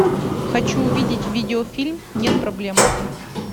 хочу увидеть видеофильм нет проблем